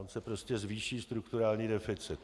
On se prostě zvýší strukturální deficit.